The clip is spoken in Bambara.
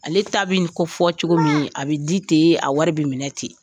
Ale ta bi ko fɔ cogo min a bi di ten a wari bɛ minɛ ten.